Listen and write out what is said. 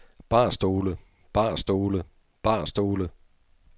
barstole barstole barstole